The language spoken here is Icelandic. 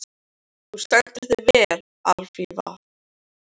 Þú stendur þig vel, Alfífa!